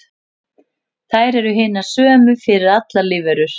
Þær eru hinar sömu fyrir allar lífverur.